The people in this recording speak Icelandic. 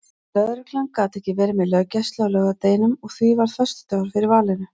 Lögregla gat ekki verið með löggæslu á laugardeginum og því varð föstudagur fyrir valinu.